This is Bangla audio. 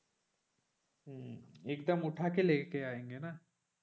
হম একদম উঠাকে লেকে আয়েঙ্গে না,